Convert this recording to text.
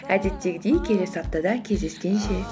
әдеттегідей келесі аптада кездескенше